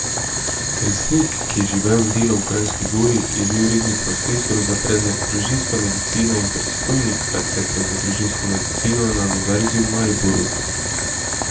Kersnik, ki je živel in delal v Kranjski Gori, je bil redni profesor za predmet družinska medicina in predstojnik katedre za družinsko medicino na Univerzi v Mariboru.